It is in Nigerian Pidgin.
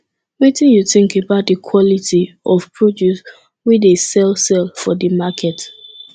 wetin you think about di quality of produce wey dey sell sell for di market